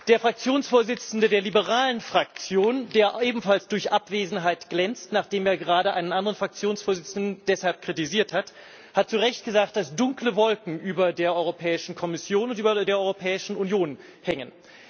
Der Fraktionsvorsitzende der liberalen Fraktion, der ebenfalls durch Abwesenheit glänzt, nachdem er gerade einen anderen Fraktionsvorsitzenden deshalb kritisiert hat, hat zu Recht gesagt, dass dunkle Wolken über der Europäischen Kommission und über der Europäischen Union hängen.